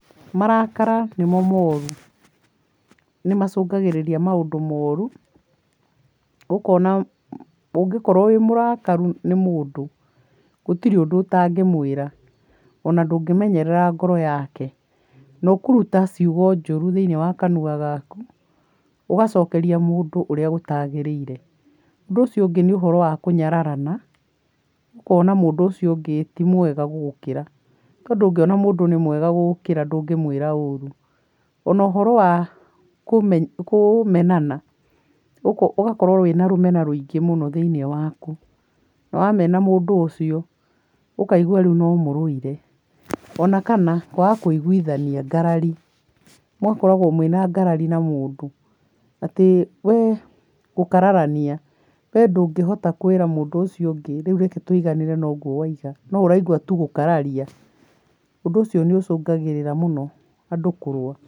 Marakara nĩmo moru, nĩmacũngagĩrĩria maũndũ moru ũkona ũngĩkorwo wĩ mũrakarũ nĩ mũndũ gũtire ũndũ ũtangĩmwĩra ona ndũngĩmenyerera ngoro yake, na ũkũruta ciugo njũru thĩini wa kanua gaku ũgacokeria mũndũ ũrĩa gũtagĩrĩire. Ũndũ ũcio ũngĩ nĩ ũhoro wa kũnyararana ũkona mũndũ ũcio ũngĩ ti mwega gũgũkĩra, tondũ ũngĩona mũndũ nĩ mwega gũgũkĩra ndũngĩmwĩra ũru. Ona ũhoro wa kũmenana ũgakorwo wĩna rũmena rũingĩ mũno thĩinĩ waku wamena mũndũ ũcio ũkaigwa rĩu no mũrũire, ona kana kwaga kũiguithania, ngarari, mũgakoragwo mwĩna ngarari na mũndũ, atĩ wee gũkararania ndũngĩhota kwĩra mũndũ ũcio ũngĩ rĩu reke tũiganĩre na ũguo waiga no ũraigua tũ gũkararia, ũndũ ũcio nĩ ũcũngagĩrĩra mũno andũ kũrũa.